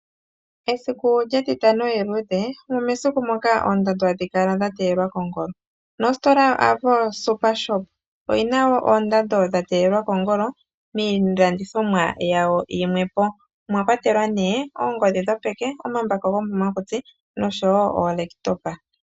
Esiku lyetitano eluudhe olyo esiku ndyoka hamu kala ondando dhateyelwa kongolo, nositola yoAvo supershop oyina oondando dha teyelwa kongolo miilandithomwa yawo yimwe mwakwatelwa oongodhi dhopeke, omambako gomomakutsi nosho woo oolaptopa.